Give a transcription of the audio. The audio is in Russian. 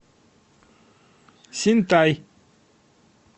синтай